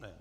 Ne.